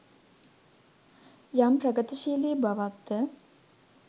යම් ප්‍රගතිශීලි බවක් ද